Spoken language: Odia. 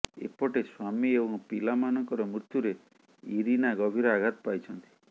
ଏପଟେ ସ୍ୱାମୀ ଏବଂ ପିଲାମାନଙ୍କର ମୃତ୍ୟୁରେ ଇରିନା ଗଭୀର ଆଘାତ ପାଇଛନ୍ତି